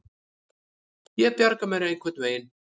Ég bjarga mér einhvern veginn.